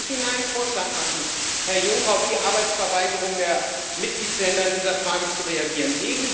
Deshalb möchte ich Ihnen einen Vorschlag machen, Herr Juncker, auf die Arbeitsverweigerung der Mitgliedstaaten in dieser Frage zu reagieren.